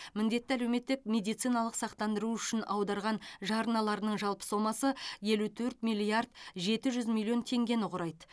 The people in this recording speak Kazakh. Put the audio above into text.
міндетті әлеуметтік медициналық сақтандыру үшін аударған жарналарының жалпы сомасы елу төрт миллиард жеті жүз миллион теңгені құрайды